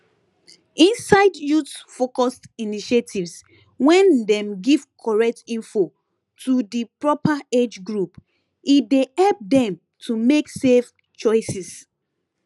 inside youthfocused initiatives wen dem give correct info to di proper age group e dey help dem to make safe choices